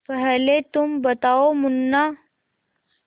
पहले तुम बताओ मुन्ना